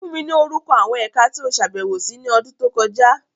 Fun mi ni orukọ awọn Ẹka ti o ṣabẹwo si ni ọdun to kọja!